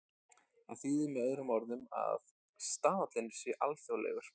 Það þýðir með öðrum orðum að staðallinn sé alþjóðlegur.